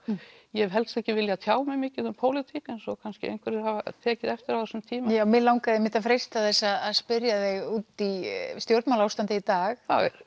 ég hef helst ekki viljað tjá mig mikið um pólitík eins og kannski einhverjir hafa tekið eftir á þessum tíma já mig langaði einmitt að freista þess að spyrja þig út í stjórnmálaástandið í dag það er